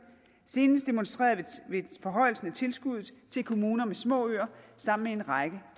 senest demonstreret ved forhøjelsen af tilskuddet til kommuner med små øer sammen med en række